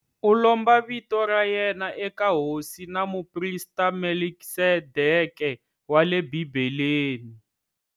U lomba vito ra yena eka hosi na muprista Melkisedeke wa le Bibeleni.